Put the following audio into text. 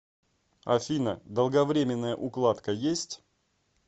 афина долговремененная укладка есть